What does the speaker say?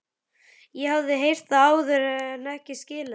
Ég hafði heyrt það áður en ekki skilið það.